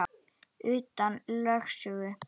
Utan lögsögu